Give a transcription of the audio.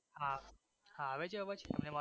હા હા આવે છે અવાજ તમને મારો